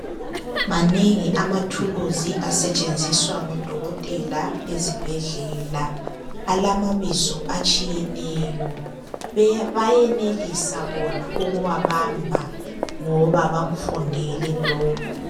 Manengi amathuluzi asetshenziswa ngodokotela ezibhedlela. Alamabizo atshiyeneyo. Bayenelisa bona ukuwabamba ngoba bona bakufundele lokho.